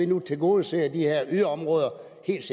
kan tilgodese de her yderområder